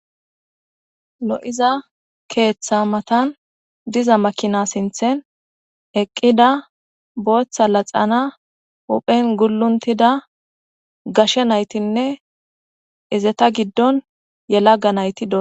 Lo'iza keththa matan diza makina sinten eqida bootha laxxana huphen gulontida gashe nayitinne izeta gidon yelaga nayti dosona.